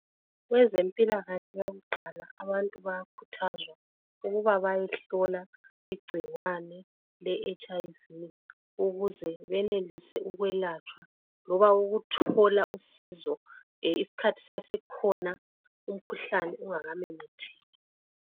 kwezempilakahle yakuqala abantu bayakhuthazwa ukuba bayehlolwa icikwane leHIV ukuze benelise ukwelatsha ukuthola usizo isikhathi sisase khona umkhuhlane ungakamemetheki